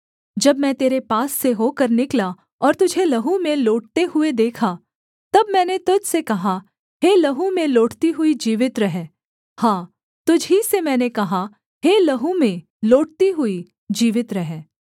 जब मैं तेरे पास से होकर निकला और तुझे लहू में लोटते हुए देखा तब मैंने तुझ से कहा हे लहू में लोटती हुई जीवित रह हाँ तुझ ही से मैंने कहा हे लहू में लोटती हुई जीवित रह